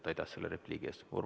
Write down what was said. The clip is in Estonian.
Aitäh selle repliigi eest!